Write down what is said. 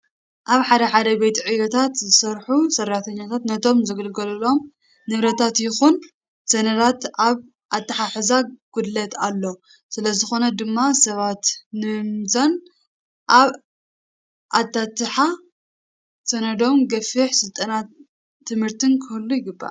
ኣብ ሓደ ሓደ ቤት ዕዮታት ዝሰርሑ ሰራሕተኛታት ነቶም ዝግልገልሎም ንብረታት ይኹን ሰነዳት ኣብ ኣትሓሕዛ ጉድለት ኣሎ። ስለዝኾነ ድማ ሰባት ንምምዛን ኣብ ኣታትሓ ሰነዶም ገፊሕ ስልጠናን ትምህርትን ክህሉ ይግባእ።